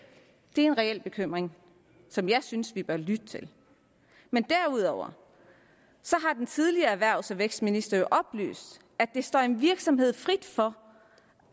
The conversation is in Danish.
det er en reel bekymring som jeg synes vi bør lytte til men derudover har den tidligere erhvervs og vækstminister jo oplyst at det står en virksomhed frit for